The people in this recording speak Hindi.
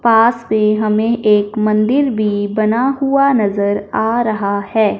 पास में हमें एक मंदिर भी बना हुआ नजर आ रहा है।